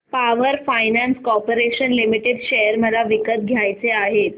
power finance corporation limited share मला विकत घ्यायचे आहेत